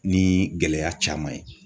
Ni gɛlɛya caman ye